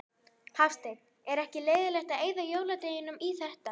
Hafsteinn: Ekkert leiðilegt að eyða jóladeginum í þetta?